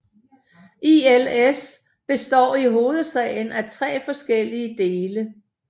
ILS består i hovedsagen af tre forskellige dele